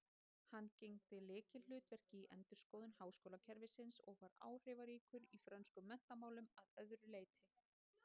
Hann gegndi lykilhlutverki í endurskoðun háskólakerfisins og var áhrifaríkur í frönskum menntamálum að öðru leyti.